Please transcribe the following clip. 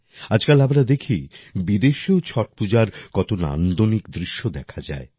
আজকাল আমরা দেখি বিদেশেও ছট পূজার কত নান্দনিক দৃশ্য দেখা যায়